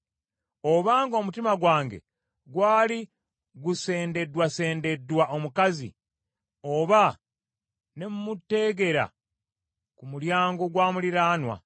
Obanga omutima gwange gwali gusendeddwasendeddwa omukazi, oba ne mmuteegera ku mulyango gwa muliraanwa,